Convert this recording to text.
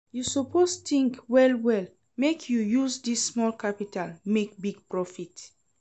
You suppose tink well-well, make you use dis small capital make big profit.